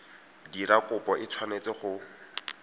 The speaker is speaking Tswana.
dira kopo e tshwanetse go